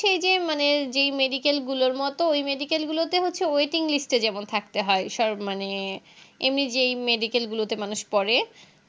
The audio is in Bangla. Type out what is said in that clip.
সেই যে মানে যেই Medical গুলোর মতো ঐ Medical গুলোতে হচ্ছে Waiting list এ যেমন থাকতে হয় এসব মানে এমনি যেই Medical গুলোতে মানুষ পড়ে